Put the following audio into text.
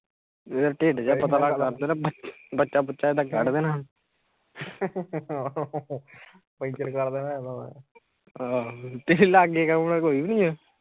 ਏਦਾਂ ਢਿਡ੍ਹ ਜਾ ਪਤਲਾ ਕਰ ਦੇਣਾ ਬੱਚਾ ਬੁਚਾ ਏਦਾਂ ਕਢ ਦੇਣਾ ਪੇਚਰ ਕਰ ਦੇਣਾ ਏਦਾਂ ਮੈ ਤੇਰੇ ਲਾਗੇ ਕੌਣ ਆ ਕੋਈ ਵੀ ਨਹੀਂ ਆ